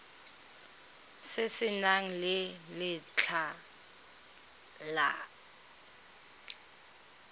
se se nang le letlha